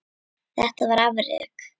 Þetta var afrek.